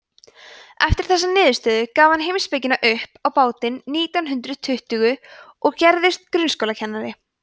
eftir þessa niðurstöðu gaf hann heimspekina upp á bátinn nítján hundrað tuttugu og gerðist grunnskólakennari